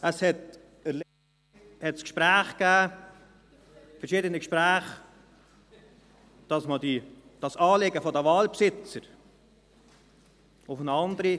Es gab ein Gespräch, verschiedene Gespräche, um dieses Anliegen der Waldbesitzer auf eine andere …